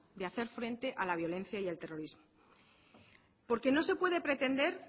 de hacer frente a la violencia y el terrorismo porque no se puede pretender